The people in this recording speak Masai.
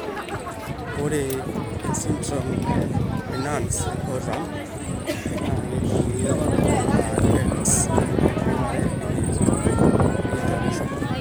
Ore esindirom eNance Horan naa kejung'uni anaa e X naibung'are enetiu neitorisho.